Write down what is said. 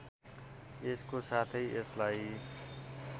यसको साथै यसलाई